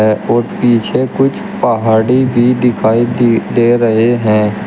पीछे कुछ पहाड़ी भी दिखाई दे दे रहे हैं।